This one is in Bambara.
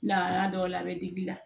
Lahala dɔw la a bɛ digi i la